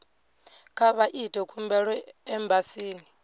kha vha ite khumbelo embasini